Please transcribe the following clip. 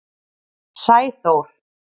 Sæþór